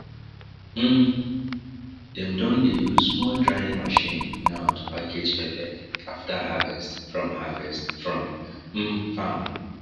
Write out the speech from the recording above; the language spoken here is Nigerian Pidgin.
um dem don dey use small drying machine now to package pepper after harvest from harvest from um farm